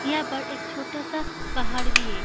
हियां पर एक छोटा-सा पहाड़ भी है।